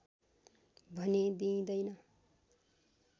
भने दिइँदैन